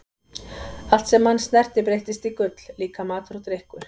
Allt sem hann snerti breyttist í gull, líka matur og drykkur.